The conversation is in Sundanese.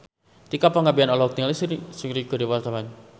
Tika Pangabean olohok ningali Seungri keur diwawancara